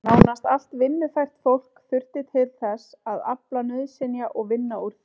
Nánast allt vinnufært fólk þurfti til þess að afla nauðsynja og vinna úr þeim.